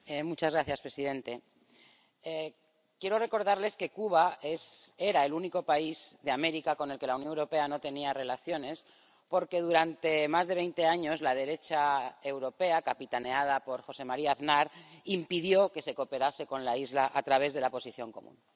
Señor presidente, quiero recordarles que Cuba era el único país de América con el que la Unión Europea no tenía relaciones, porque durante más de veinte años la derecha europea, capitaneada por José María Aznar, impidió que se cooperase con la isla a través de la Posición Común.